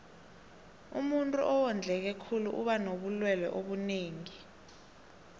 umuntuu owondleke khulu uba nobulelwe obunengi